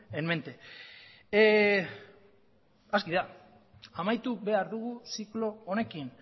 en mente aski da amaitu behar dugu ziklo honekin